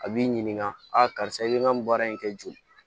A b'i ɲininka a karisa i bɛ n ka nin baara in kɛ joon